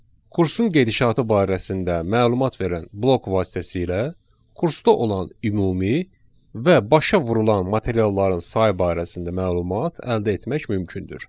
Kursun gedişatı barəsində məlumat verən blok vasitəsilə kursda olan ümumi və başa vurulan materialların sayı barəsində məlumat əldə etmək mümkündür.